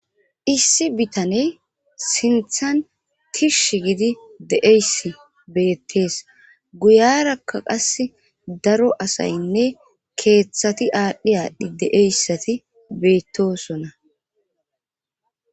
issi bitaney sinthan tish gidi deeyssi beettees guyarakka qas daro asaynne keeththati aadhdhi aadhdhi de7eyssati beettosona